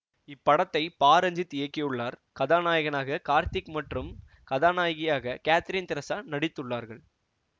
இந்த திரைப்படத்தை பா ரஞ்சித் இயக்கியுள்ளார் கதாநாயகனாக கார்த்திக் மற்றும் கதாநாயகியாக காத்ரீன் தெரசா நடித்துள்ளார்கள்